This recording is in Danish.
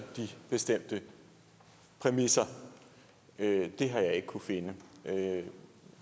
de bestemte præmisser det har jeg ikke kunnet finde